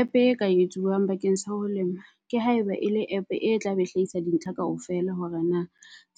App e ka etsuwang bakeng sa ho lema ke haeba e le app e tlabe hlahisa di ntlha kaofela. Hore na